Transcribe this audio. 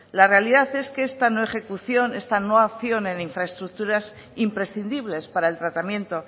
la realidad es que esta no ejecución esta no acción en infraestructuras imprescindibles para el tratamiento